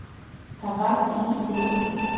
Það varð lítið úr því.